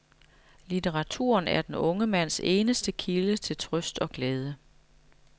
Litteraturen er den unge mands eneste kilde til trøst og glæde.